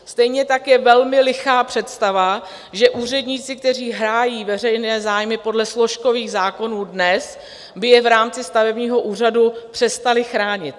Stejně tak je velmi lichá představa, že úředníci, kteří hájí veřejné zájmy podle složkových zákonů dnes, by je v rámci stavebního úřadu přestali chránit.